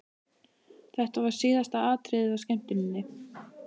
Þetta var síðasta atriðið á skemmtuninni!